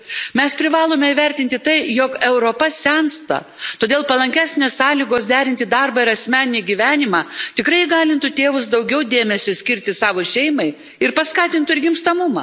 Mes privalome įvertinti tai, jog Europa sensta, todėl palankesnės sąlygos derinti darbą ir asmeninį gyvenimą tikrai įgalintų tėvus daugiau dėmesio skirti savo šeimai ir paskatintų gimstamumą.